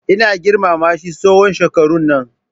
Ina girmama shi tsawon shekarun nan.